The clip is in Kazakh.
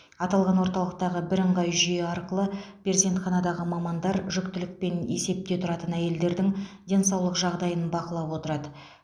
аталған орталықтағы бірыңғай жүйе арқылы перзентханадағы мамандар жүктілікпен есепте тұратын әйелдердің денсаулық жағдайын бақылап отырады